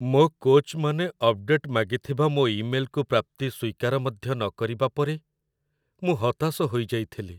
ମୋ କୋଚ୍‌‌ମାନେ ଅପଡେଟ୍ ମାଗିଥିବା ମୋ ଇମେଲ୍‌କୁ ପ୍ରାପ୍ତି ସ୍ୱୀକାର ମଧ୍ୟ ନକରିବା ପରେ ମୁଁ ହତାଶ ହୋଇଯାଇଥିଲି।